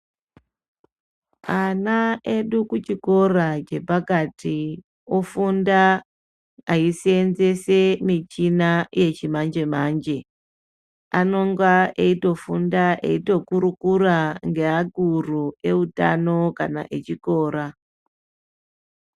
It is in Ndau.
Ana edu kuchikora chepakati ofunda eisenzesa michina yechimanje manje. Anonga eitofunda eitokurukura ngeakuru eutano kana echikora.